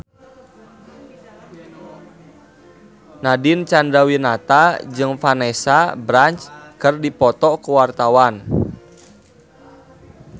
Nadine Chandrawinata jeung Vanessa Branch keur dipoto ku wartawan